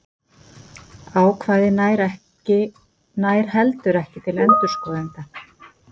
Ákvæðið nær heldur ekki til endurskoðenda.